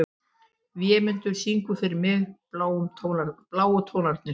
Vémundur, syngdu fyrir mig „Bláu tónarnir“.